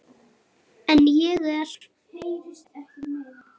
En ég er.